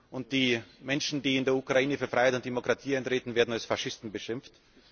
Und die Menschen, die in der Ukraine für Freiheit und Demokratie eintreten, werden als Faschisten beschimpft.